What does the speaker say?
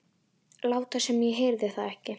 Láta sem ég heyrði það ekki.